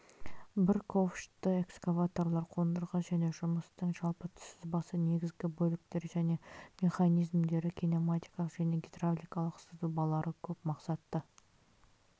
бір ковшты экскаваторлар қондырғы және жұмыстың жалпы сызбасы негізгі бөліктері және механизмдері кинематикалық және гидравликалық сызбалары көп мақсатты